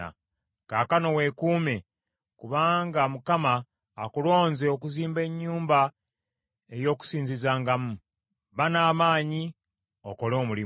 Kaakano weekuume, kubanga Mukama akulonze okuzimba ennyumba ey’okusinzizangamu. Ba n’amaanyi, okole omulimu.”